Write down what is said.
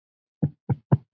Minning Siggu lifir.